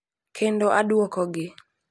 kendo adwokogi.